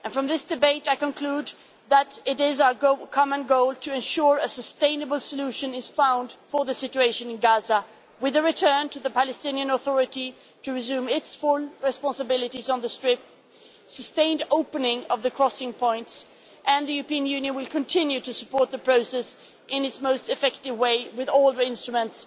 From this debate I conclude that it is our common goal to ensure a sustainable solution is found for the situation in Gaza, with a return to the Palestinian Authority to resume its full responsibilities on the Strip, and sustained opening of the crossing points. The European Union will continue to support the process in its most effective way with all the instruments